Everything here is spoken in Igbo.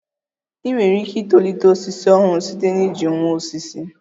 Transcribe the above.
I nwere ike itolite osisi ọhụrụ site na iji nwa osisi